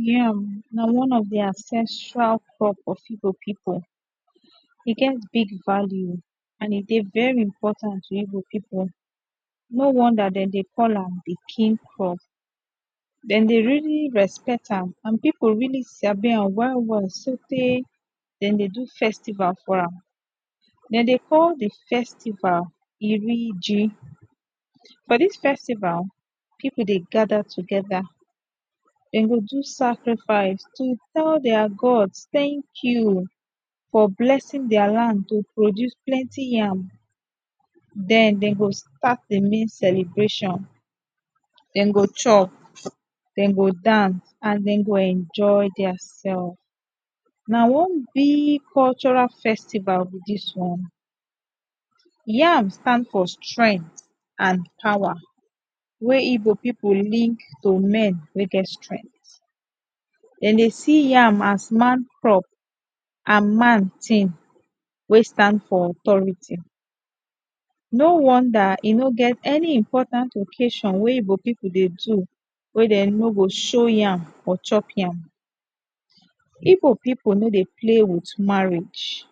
Yam, na one of the ancestry crop of Igbo people. E get big value and e dey very important to Igbo people. No wonder dem dey call am the “king crop”. Dem dey really respect am and people really sabi am well well sotey dem dey do festival for am. Dem dey call the festival “Iri ji”. For this festival, people dey gather together, dem go do sacrifice, to tell their gods “thank you” for blessing their land to produce plenty yam. Den, dem go start the main celebration. Dem go chop, dem go dance and dem go enjoy their self. Na one big cultural festival be dis oo. Yam stand for strength amd power wey igbo people link to men wey get strength. Dem dey see yam as man crop and man thing wey stand for authority. No wonder e no get any important occasion wey Igbo people dey do wey dem no go show yam or chop yam. Igbo people no dey play with marriage.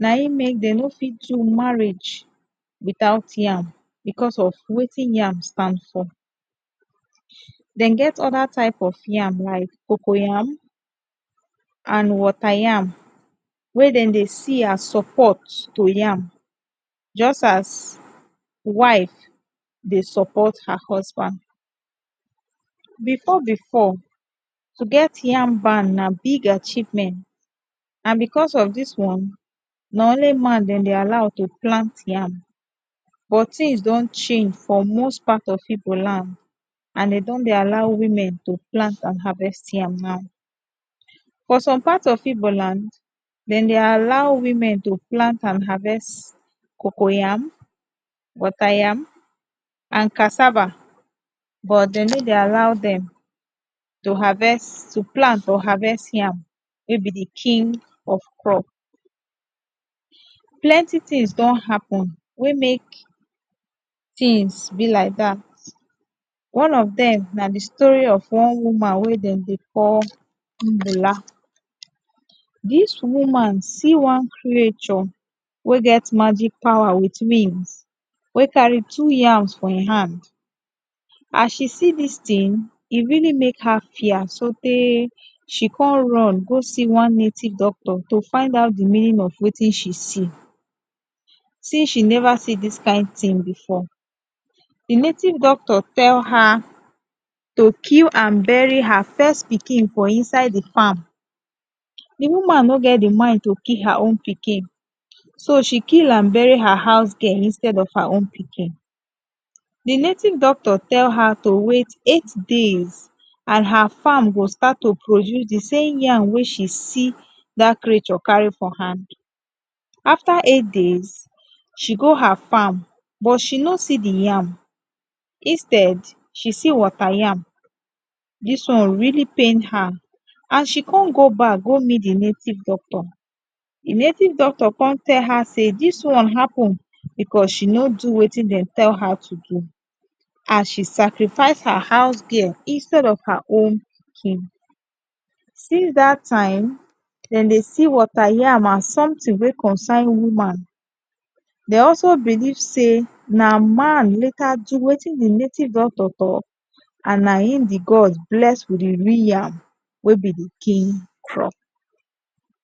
Na im make dey no fit do marriage without yam. because of wetin yam stand for. Dem get other type of yam like cocoyam and wateryam wey dem dey see as support to yam just as wife dey support her husband. Before before, to get yam barn na big achievement. and because of dis one, na only man dem dey allow to plant yam. But things don change for most part of Igbo land and dey don dey allow women to plant and harvest yam now. For some part of Igbo land, dem dey allow women to plant and harvest coco yam, water yam and cassava but dem no dey allow dem to harvest to plant or to harvest yam wey be the king of crop. Plenty things don happen wey make things be like that. One of dem na the story of one woman wey dem dey call Mbula. Dis woman see one creature wey get magic power wit? wey carry two yams for im hand. As she see dis thing, e really make her fear sotey she come run go see one native doctor, to find out the meaning of wetin she see since she never see dis kain thing before. The native doctor tell her to kill and bury her first pikin for inside the farm. The woman no get the mind to kill her own pikin, so she kill and bury her house girl instead of her own pikin. The native doctor tell her to wait eight days and her farm go start to produce the same yam wey she see dat creature carry for hand. After eight days, she go her farm but she no see the yam instead she see water yam. Dis one really pain her. As she come go back go meet the native doctor, the native doctor come tell her say dis one happen because she no do wetin dem tell her to do, as she sacrifice her house girl instead of her own pikin. Still that time, dem dey see water yam as something wey concern woman. Dey also believe say, na man later do wetin the native doctor talk and na im the god bless wit the real yam wey be the king crop.